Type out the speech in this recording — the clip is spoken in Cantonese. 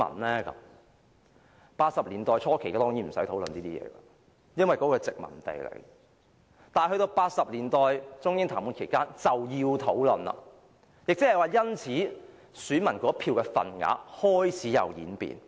在1980年代初期當然不用討論這些問題，因為當時香港是殖民地；但到了1980年代中英談判期間便要討論，亦即是說，選民那一票的份額開始有所演變。